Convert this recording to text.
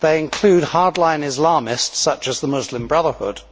They include hardline Islamists such as the Muslim Brotherhood,